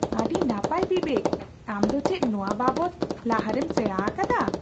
ᱟᱹᱰᱤ ᱱᱟᱯᱟᱭ ᱵᱤᱵᱮᱠ ! ᱟᱢ ᱫᱚ ᱪᱮᱫ ᱱᱚᱣᱟ ᱵᱟᱵᱚᱫ ᱞᱟᱦᱟᱨᱮᱢ ᱥᱮᱸᱲᱟ ᱟᱠᱟᱫᱟ ?